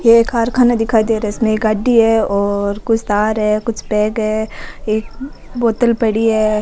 ये एक कारखाना दिखाई दे रहा है इसमें एक गाड़ी है और कुछ तार है कुछ बैग है एक बोतल पड़ी है।